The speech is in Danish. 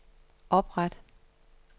opret